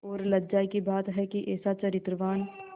और लज्जा की बात है कि ऐसा चरित्रवान